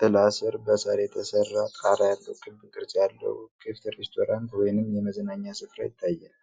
ጥላ ስር፣ በሳር የተሰራ ጣራ ያለው ክብ ቅርጽ ያለው ክፍት ሬስቶራንት ወይንም የመዝናኛ ስፍራ ይታያል።